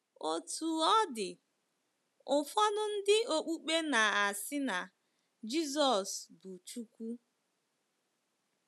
Otú ọ dị, ụfọdụ ndị okpukpe na-asị na Jizọs bụ Chukwu..